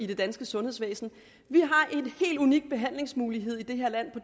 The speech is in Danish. det danske sundhedsvæsen vi har en helt unik behandlingsmulighed i det her land